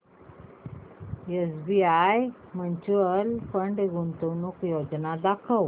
SBI mutual fund गुंतवणूक योजना दाखव